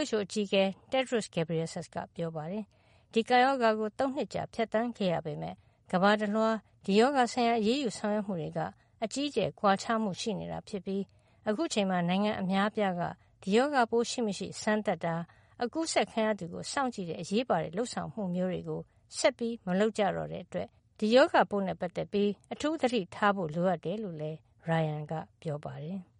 WHO အကြီးအကဲ Tedros Adhanom Ghebreyesus က ပြောပါတယ်။ ဒီကပ်ရောဂါကို ၃ နှစ်ကြာ ဖြတ်သန်းခဲ့ရပေမယ့် ကမ္ဘာတလွှား ဒီရောဂါဆိုင်ရာ အရေးယူဆောင်ရွက်မှုတွေက အကြီးအကျယ် ကွာခြားမှု ရှိနေတာ ဖြစ်ပြီး အခုအချိန်မှာ နိုင်ငံ အများအပြားက ဒီရောဂါပိုး ရှိမရှိစမ်းသပ်တာ၊ အကူးစက်ခံရသူကို စောင့်ကြည့်တဲ့ အရေးပါတဲ့ လုပ်ဆောင်မှုမျိုးတွေ ဆက်မလုပ် ကြတော့တဲ့ အတွက် ဒီရောဂါပိုးနဲ့ ပတ်သက်ပြီး အထူးသတိထားဖို့ လိုအပ်တယ်လို့လည်း Ryan က ပြောပါတယ်။